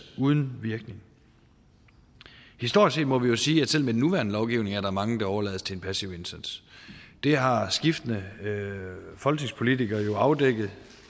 uden virkning historisk set må vi jo sige at selv med den nuværende lovgivning er der mange der overlades til en passiv indsats det har skiftende folketingspolitikere jo afdækket